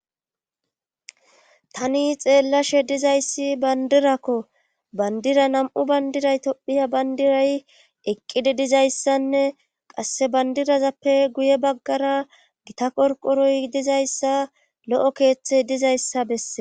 tani xeellashe dizayssi bandirakko bandira nam7u bandiray tophiya bandiray eqqidi dizayssanne qasse bandirazappe guye baggara gita qorqoroy dizayssa lo7o keeththey dizayssa bessee